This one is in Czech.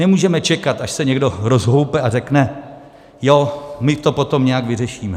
Nemůžeme čekat, až se někdo rozhoupe a řekne: jo, my to potom nějak vyřešíme.